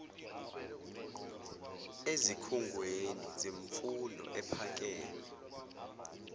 ezikhungweni zemfundo ephakeme